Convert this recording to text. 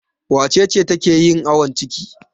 Wace ce take yin awon ciki?